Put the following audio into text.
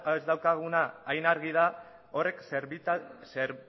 ez daukaguna hain argi da horrek